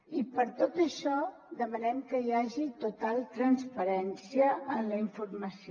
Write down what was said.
i per tot això demanem que hi hagi total transparència en la informació